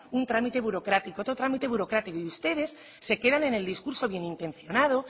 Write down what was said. un trámite burocrático otro trámite burocrático y ustedes se quedan en el discurso bien intencionado